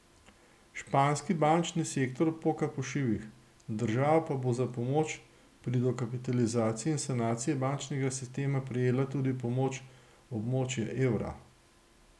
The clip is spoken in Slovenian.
Španski bančni sektor poka po šivih, država pa bo za pomoč pri dokapitalizaciji in sanaciji bančnega sistema prejela tudi pomoč območja evra.